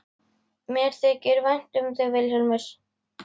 Mér þykir vænt um þig Vilhjálmur.